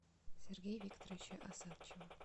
сергея викторовича осадчего